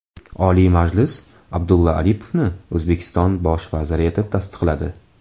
Oliy Majlis Abdulla Aripovni O‘zbekiston bosh vaziri etib tasdiqladi.